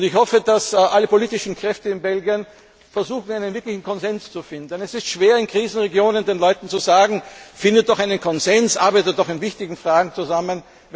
Ich hoffe, dass alle politischen Kräfte in Belgien versuchen, einen wirklichen Konsens zu finden. Es ist schwer, in Krisenregionen den Leuten zu sagen Findet doch einen Konsens, arbeitet doch in wichtigen Fragen zusammen!,